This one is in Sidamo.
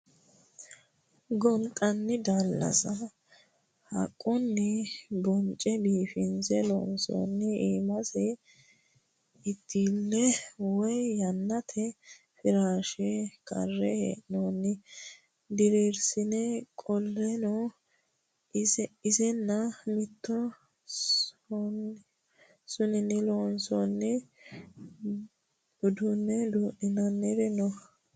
Gonxani daalasa haqqunni bonce biifinse loonse iimasi itile woyi yannate firashe kare hee'nonni dirirsine, qoleno isinni mitu sonini loonsonihu uduune duu'ninanniri no.